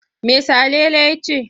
Me Salele ya ce?